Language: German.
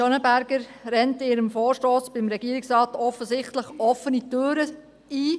Schönenberger rennt mit ihrem Vorstoss beim Regierungsrat offensichtlich offene Türen ein.